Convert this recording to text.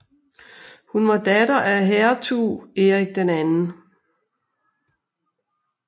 Hun var datter af hertug Erik 2